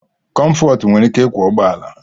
Comfort nwere ike ịkwọ ụgbọ ala